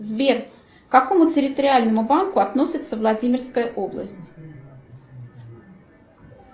сбер к какому территориальному банку относится владимирская область